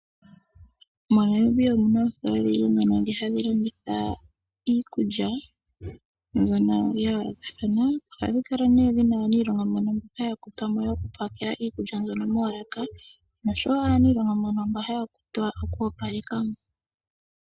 MoNamibia omu na oositola odhindji ndhono ha dhi landitha iikulya , mbyono ya yoolokathana. Oha dhi kala nee dhi na aaniilonga mbono ha ya kutwa mo yoku pakela iikulya mbyono moolaka, nosho wo aaniilonga mbono ha ya kutwa oku opaleka mo.